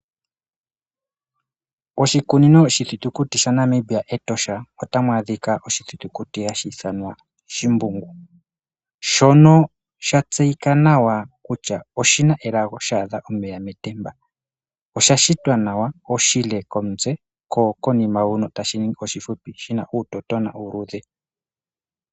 Oshikunino oshiithitukuti sha Namibia Etosha, ota mu adhika oshithitukuti hashi ithanwa shimbungu, shono sha tseyika nawa kutya oshi na elago sha adha omeya metemba. osha shitwa nawa, oshile komutse, ko konima huno tashi ningi oshipupi, shi na uutotona uuluudhe.